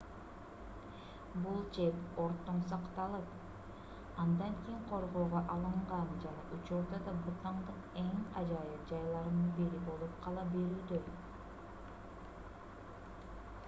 бул чеп өрттөн сакталып андан кийин коргоого алынган жана учурда да бутандын эң ажайып жайларынын бири болуп кала берүүдө